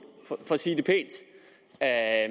for at